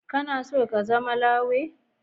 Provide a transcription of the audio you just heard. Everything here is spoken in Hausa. Kana so ka zama lawyer?